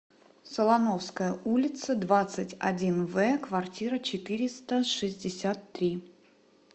солоновская улица двадцать один в квартира четыреста шестьдесят три